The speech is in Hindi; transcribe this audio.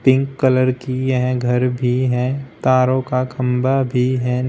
पिंक कलर की यह घर भी हैं तारों का खंबा भी हैं।